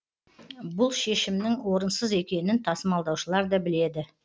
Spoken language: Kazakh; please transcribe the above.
бұл шешімнің орынсыз екенін тасымалдаушылар да біледі